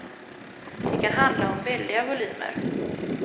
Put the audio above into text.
Det kan handla om väldiga volymer.